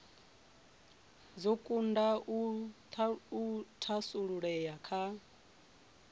dzo kunda u thasululea kha